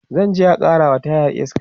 zanje a karawa tayar iska